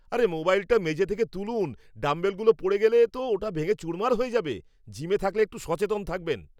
আরে, মোবাইলটা মেঝে থেকে তুলুন, ডাম্বেলগুলো পড়ে গেলে তো ওটা ভেঙে চুরমার হয়ে যাবে, জিমে থাকলে একটু সচেতন থাকবেন।